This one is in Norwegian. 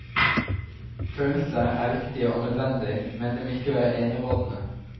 Følelser er viktige og nødvendig, men de må ikke være enerådende.